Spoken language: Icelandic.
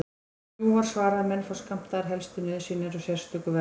Jú, var svarað, menn fá skammtaðar helstu nauðsynjar á sérstöku verði.